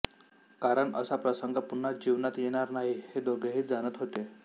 कारण असा प्रसंग पुन्हा जीवनात येणार नाही हे दोघेही जाणत होते